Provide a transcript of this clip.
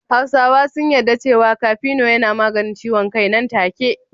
Hausawa sun yadda cewa kafino yana maganin ciwon kai nan take.